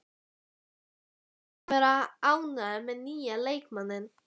Þú hlýtur að vera ánægður með nýja leikmanninn?